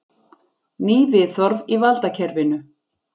Ný viðhorf í valdakerfinu